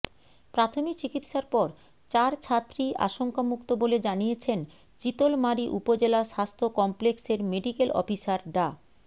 প্রাথমিক চিকিৎসার পর চার ছাত্রীই আশঙ্কামুক্ত বলে জানিয়েছেন চিতলমারী উপজেলা স্বাস্থ্য কমপ্লেক্সের মেডিকেল অফিসার ডা